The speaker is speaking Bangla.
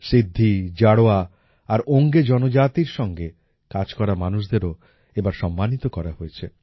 সিদ্ধি জারোয়া আর ওঙ্গে জনজাতির সঙ্গে কাজ করা মানুষদেরও এবার সম্মানিত করা হয়েছে